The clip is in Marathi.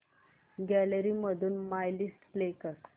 गॅलरी मधून माय लिस्ट प्ले कर